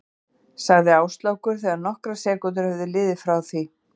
sagði Áslákur þegar nokkrar sekúndur höfðu liðið frá því